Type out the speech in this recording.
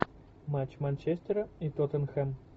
матч манчестера и тоттенхэм